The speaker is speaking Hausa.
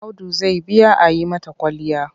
Audu zai biya a yi mata kwalliya.